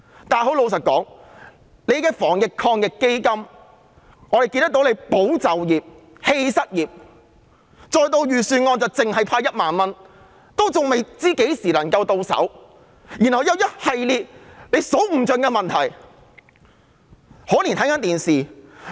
但老實說，我們看到政府提出的防疫抗疫基金"保就業、棄失業"，而預算案提出派發的1萬元仍未知何時能夠到手，而且還有一系列數之不盡的問題。